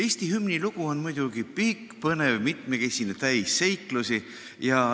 Eesti hümni lugu on muidugi pikk, põnev, mitmekesine ja täis seiklusi.